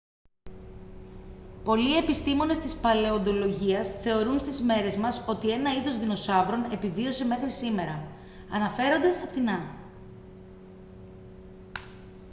πολλοί επιστήμονες της παλαιοντολογίας θεωρούν στις μέρες μας ότι ένα είδος δεινοσαύρων επιβίωσε μέχρι σήμερα αναφέρονται στα πτηνά